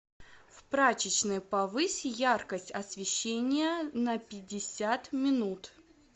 в прачечной повысь яркость освещения на пятьдесят минут